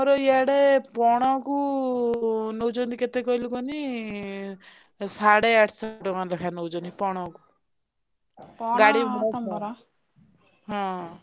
ଆମର ଇଆଡେ ପଣ କୁ ନଉଛନ୍ତି କେତେ କହିଲୁ କହନି ସାଡେ ଆଠଶ ନଉଛନ୍ତି ପଣ କୁ।